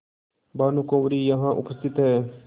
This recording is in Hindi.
भानुकुँवरि यहाँ उपस्थित हैं